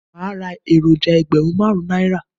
Màá ra èròjà ẹgbẹ̀rún máàrún Náírà